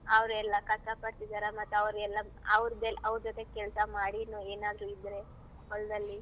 ಅವ್ರೆಲ್ಲ ಕಷ್ಟ ಪಡ್ತಿದರ ಮತ್ ಅವ್ರ್ ಎಲ್ಲಾ ಅವ್ರ್ದ್~ ಅವ್ರ್ ಜತೆ ಕೆಲ್ಸ ಮಾಡಿ ಏನಾದ್ರೂ ಇದ್ರೆ ಹೊಲ್ದಲ್ಲಿ.